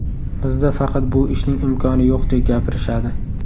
Bizda faqat bu ishning imkoni yo‘qdek gapirishadi.